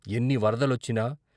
ఎన్ని వరద లొచ్చినా.